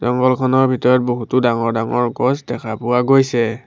জংঘলখনৰ ভিতৰত বহুতো ডাঙৰ ডাঙৰ গছ দেখা পোৱা গৈছে।